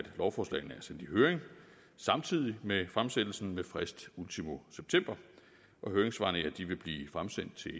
lovforslagene er sendt i høring samtidig med fremsættelsen med frist ultimo september høringssvarene vil blive fremsendt til